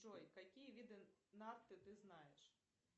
джой какие виды нарды ты знаешь